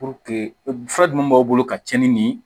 fura dun b'aw bolo ka cɛnni nin ye